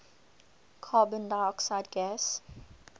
carbon dioxide gas